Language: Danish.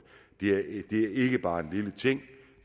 det er ikke bare en lille ting